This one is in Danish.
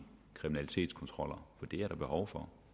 kriminalitetskontroller det er der behov for